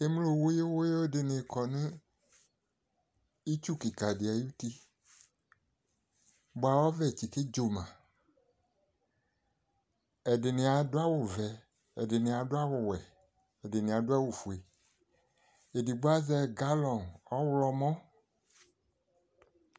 Emlo wuyuwuyu de ne kɔ no itsu kika de ayiti boa ɔvɛ tsike tso maƐde ne ado awuvɛ, ɛdrne ado awuwɛ, ɛdene ado awufue Edigbo azɛ galɔn ɔwlɔmɔ